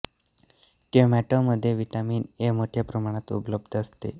tomato मध्ये vitamin A मोठ्या प्रमाणात उपलब्ध असते